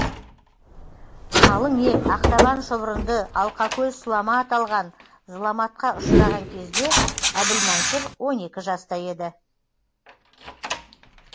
қалың ел ақтабан шұбырынды алқа көл сұлама аталған зұламатқа ұшыраған кезде әбілмансұр он екі жаста еді